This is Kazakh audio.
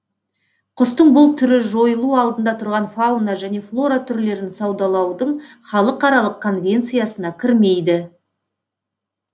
құстың бұл түрі жойылу алдында тұрған фауна және флора түрлерін саудалаудың халықаралық конвенциясына кірмейді